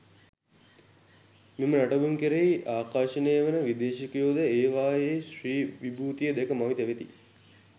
මෙම නටඹුන් කෙරෙහි ආකර්ශනය වන විදේශිකයෝද ‍ඒවායේ ශ්‍රී විභූතිය දැක මවිත වෙති.